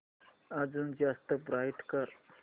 अजून जास्त ब्राईट कर